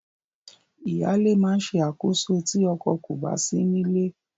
Ìyáalé máa ṣe àkóso ilé tí ọkọ kò bá sí nílé.